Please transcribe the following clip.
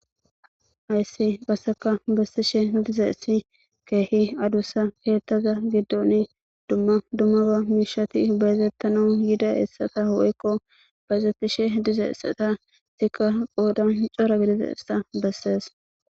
ayssi qasseka bessishe diza essi keehi adussa keettaza giddon dumma dummara miishati bayzettano yida essata woykko bayezettishe diza essata sikka qoodan cora gidize essa bessees